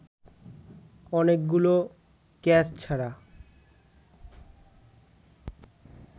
অনেকগুলো ক্যাচ ছাড়া